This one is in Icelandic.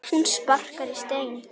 Hún sparkar í stein.